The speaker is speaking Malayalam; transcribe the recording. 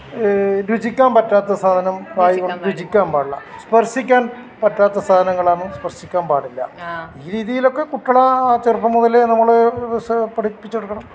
രുചിക്കാൻ പറ്റാത്ത സാധനം രുചിക്കാൻ പാടില്ല സ്പർശിക്കാൻ പറ്റാത്ത സാധനം ആണെങ്കി സ്പർശിക്കാൻ പാടില്ല ഈ രീതിയിൽ ഒക്കെ കുട്ടികളെ ചെറുപ്പം മുതലേ നമ്മൾ പഠിപ്പിച്ചുകൊടുക്കണം